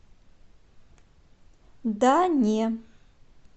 да не